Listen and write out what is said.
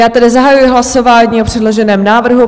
Já tedy zahajuji hlasování o předloženém návrhu.